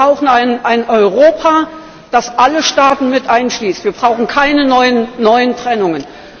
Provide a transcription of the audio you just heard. Wir brauchen ein Europa, das alle Staaten mit einschließt. Wir brauchen keine neuen Trennungen.